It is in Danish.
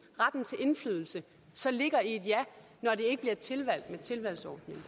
retten til indflydelse så ligger i et ja når det ikke bliver tilvalgt med tilvalgsordningen